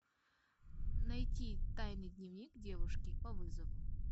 найти тайный дневник девушки по вызову